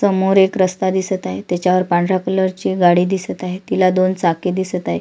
समोर एक रस्ता दिसत आहे त्याच्या वर पांढऱ्या कलर ची एक गाडी दिसत आहे तिला दोन चाके दिसत आहे.